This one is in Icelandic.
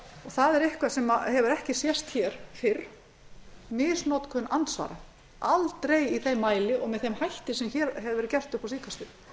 það er eitthvað sem hefur ekki sést hér fyrr misnotkun andsvara aldrei í þeim mæli og með þeim hætti sem hefur verið gert upp á